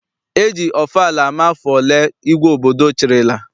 E ji ọfala ama afọ ole igwe obodo chịrịla.